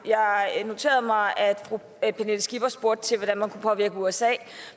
jeg noterede mig at pernille skipper spurgte til hvordan man kunne påvirke usa